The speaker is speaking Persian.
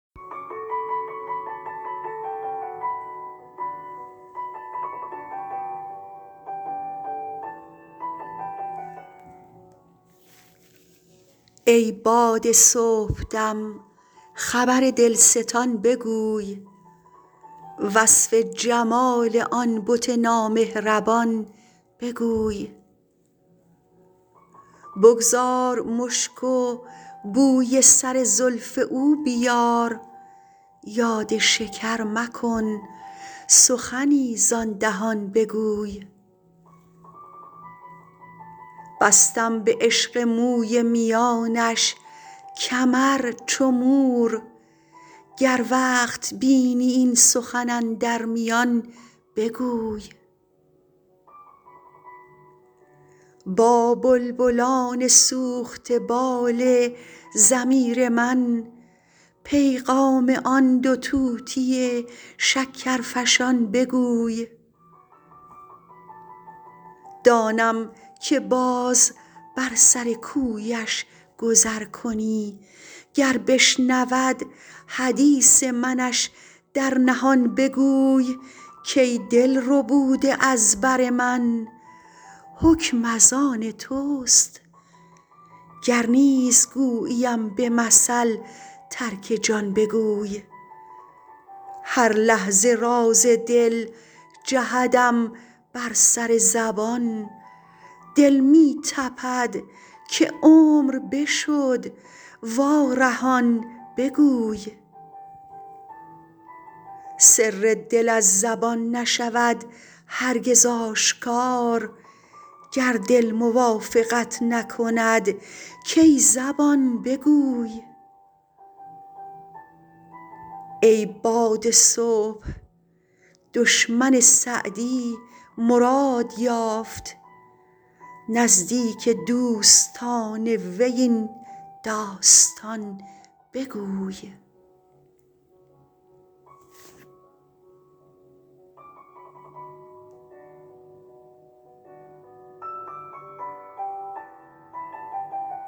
ای باد صبحدم خبر دلستان بگوی وصف جمال آن بت نامهربان بگوی بگذار مشک و بوی سر زلف او بیار یاد شکر مکن سخنی زآن دهان بگوی بستم به عشق موی میانش کمر چو مور گر وقت بینی این سخن اندر میان بگوی با بلبلان سوخته بال ضمیر من پیغام آن دو طوطی شکرفشان بگوی دانم که باز بر سر کویش گذر کنی گر بشنود حدیث منش در نهان بگوی کای دل ربوده از بر من حکم از آن توست گر نیز گوییم به مثل ترک جان بگوی هر لحظه راز دل جهدم بر سر زبان دل می تپد که عمر بشد وارهان بگوی سر دل از زبان نشود هرگز آشکار گر دل موافقت نکند کای زبان بگوی ای باد صبح دشمن سعدی مراد یافت نزدیک دوستان وی این داستان بگوی